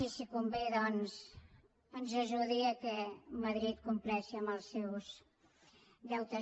i si convé ens ajudi que madrid compleixi amb els seus deutes